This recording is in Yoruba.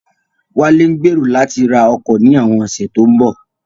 Wálé ń gbèrò láti ra ọkọ̀ ní àwọn ọ̀sẹ̀ tó ń bọ̀